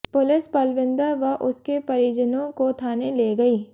police Palwinder व उसके परिजनाें काे थाने ले गई